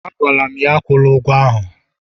Agwara m ya, akwụla ụgwọ ahụ!